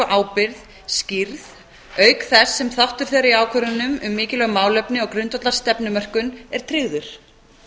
ábyrgð skýrð auk þess sem þáttur þeirra í ákvörðunum um mikilvæg málefni og grundvallar stefnumörkun er tryggður